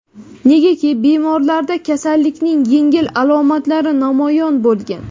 negaki bemorlarda kasallikning yengil alomatlari namoyon bo‘lgan.